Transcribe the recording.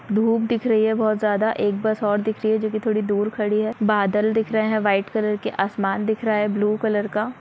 धूप दिख रही है बहुत ज्यादा एक बस और दिख रही है जोकि थोड़ी दूर खड़ी है। बादल दिख रहे हैं व्हाइट कलर के आसमान दिख रहा है ब्लू कलर का--